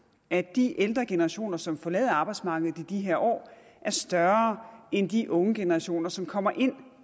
at de ældre generationer som forlader arbejdsmarkedet i de her år er større end de unge generationer som kommer ind